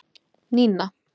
Nína